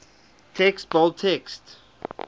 text bold text